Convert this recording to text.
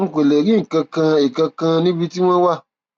n kò lè rí nǹkan kan nǹkan kan níbi tí wọn wà